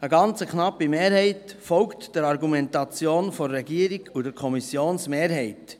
Eine ganz knappe Mehrheit folgt der Argumentation der Regierung und der Kommissionsmehrheit.